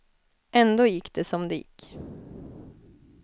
Ändå gick det som det gick.